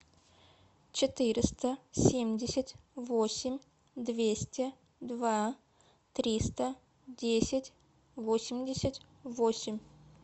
четыреста семьдесят восемь двести два триста десять восемьдесят восемь